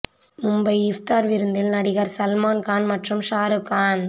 மும்பை இஃப்தார் விருந்தில் நடிகர் சல்மான் கான் மற்றும் ஷாரு கான்